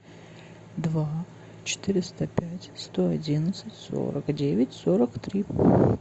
два четыреста пять сто одиннадцать сорок девять сорок три